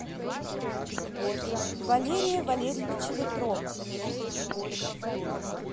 валерия валерьевича ветрова